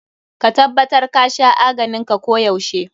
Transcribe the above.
Ka tabbatar ka sha aganin ka ko yaushe.